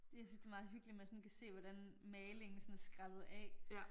Jeg synes det meget hyggeligt man sådan kan se hvordan malingen sådan er skrællet af